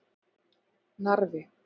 Narfi